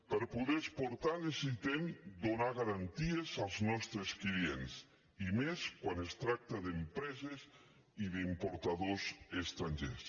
per a poder exportar necessitem donar garanties als nostres clients i més quan es tracta d’empreses i d’importadors estrangers